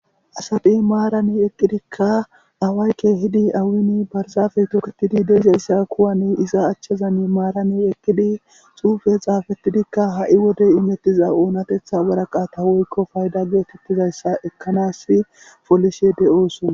asadhi maarani eqqidikka awaayke hidi awini barzafey toketidi deizayssa kuwani iza achchazan maarani eqqidi xuufe xaafettidikka ha7i wodey imettiza oonatetha waraqata woykko faydage tittizayssa ekkanasi polishe de7ooson